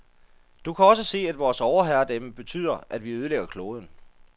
Du kan også se, at vores overherredømme betyder, at vi ødelægger kloden.